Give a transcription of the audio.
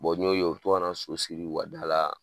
n y'o ye o be to kana so siri u ka da la